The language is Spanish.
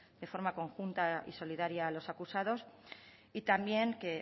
de forma conjunta y solidario a los acusados y también que